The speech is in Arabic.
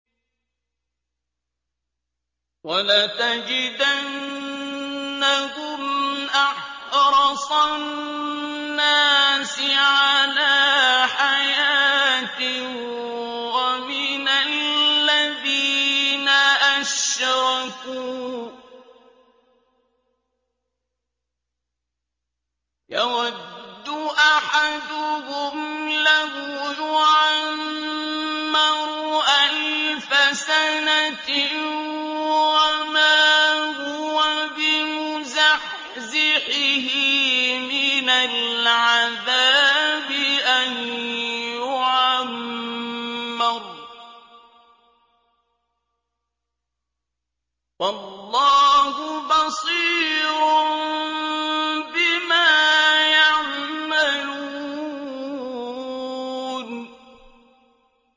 وَلَتَجِدَنَّهُمْ أَحْرَصَ النَّاسِ عَلَىٰ حَيَاةٍ وَمِنَ الَّذِينَ أَشْرَكُوا ۚ يَوَدُّ أَحَدُهُمْ لَوْ يُعَمَّرُ أَلْفَ سَنَةٍ وَمَا هُوَ بِمُزَحْزِحِهِ مِنَ الْعَذَابِ أَن يُعَمَّرَ ۗ وَاللَّهُ بَصِيرٌ بِمَا يَعْمَلُونَ